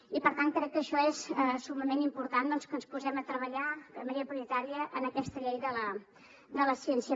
i per tant crec que això és summament important doncs que ens posem a treballar de manera prioritària en aquesta llei de la ciència